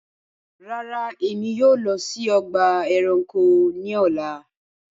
Ràrá, ẹ̀mi yóò lọ sí ọgba ẹ̀ránkò ní ọ̀là